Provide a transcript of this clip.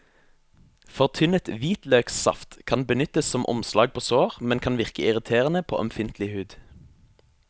Fortynnet hvitløksaft kan brukes som omslag på sår, men kan virke irriterende på ømfintlig hud.